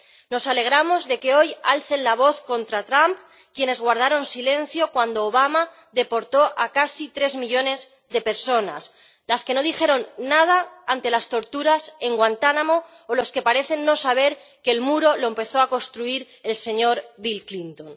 Nos alegramos de que hoy alcen la voz contra Trump quienes guardaron silencio cuando Obama deportó a casi tres millones de personas, quienes no dijeron nada ante las torturas en Guantánamo o quienes parecen no saber que el muro lo empezó a construir el señor Bill Clinton.